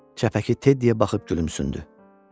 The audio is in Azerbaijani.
Çəpəki Teddiyə baxıb gülümsündü.